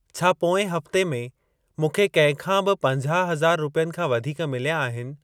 छा पोएं हफ़्ते में मूंखे कंहिंखां बि पंजाह हज़ार रुपियनि खां वधीक मिलिया आहिनि?